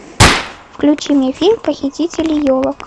включи мне фильм похитители елок